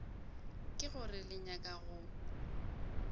ke gore le nyaka go